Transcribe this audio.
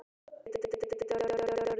Ég gæti orðið talsmaður félagsins út á við.